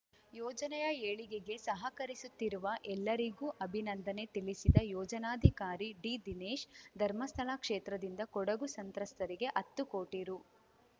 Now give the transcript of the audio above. ಯೋಜನೆಯ ಏಳಿಗೆಗೆ ಸಹಕರಿಸುತ್ತಿರುವ ಎಲ್ಲರಿಗೂ ಅಭಿನಂದನೆ ತಿಳಿಸಿದ ಯೋಜನಾಧಿಕಾರಿ ಡಿದಿನೇಶ್‌ ಧರ್ಮಸ್ಥಳ ಕ್ಷೇತ್ರದಿಂದ ಕೊಡಗು ಸಂತ್ರಸ್ಥರಿಗೆ ಹತ್ತು ಕೋಟಿ ರೂ